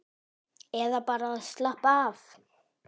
Eða bara að slappa af.